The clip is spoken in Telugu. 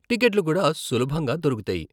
టికెట్లు కూడా సులభంగా దొరుకుతాయి.